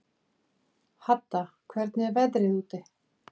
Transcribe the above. Hadda, hvernig er veðrið úti?